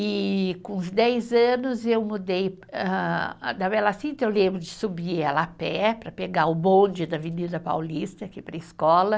E com uns dez anos eu mudei ah, da Bela Cinta, eu lembro de subir ela a pé para pegar o bonde da Avenida Paulista, aqui para a escola.